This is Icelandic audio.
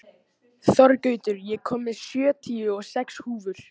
Þorgautur, ég kom með sjötíu og sex húfur!